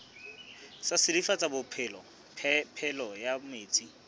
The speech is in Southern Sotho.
sa silafatsa phepelo ya metsi